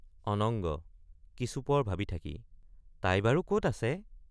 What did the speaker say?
অনুঙ্গ—কিছুপৰ ভাবি থাকি তাই বাৰু কত আছে?